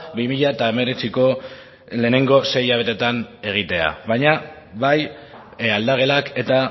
bi mila hemeretziko lehenengo sei hilabetetan egitea baina bai aldagelak eta